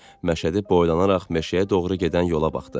Məşədi boylanaraq meşəyə doğru gedən yola baxdı.